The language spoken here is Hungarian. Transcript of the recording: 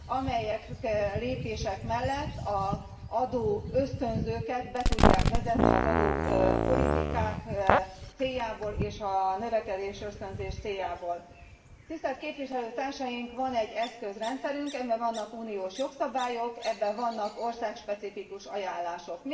amelyek mellett az adóösztönzőket be tudják vezetni az adópolitikák és a növekedésösztönzés céljából. Tisztelt képviselőtársaink! Van egy eszközrendszerünk. Ebben vannak uniós jogszabályok, ebben vannak országspecifikus ajánlások.